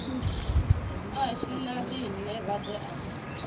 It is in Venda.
ashu na riṋe vhaḓe a